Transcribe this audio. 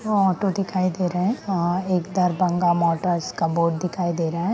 व ऑटो दिखाई दे रहे अ एक दरबंगा मटर्स का बोर्ड दिखाई दे रहा है।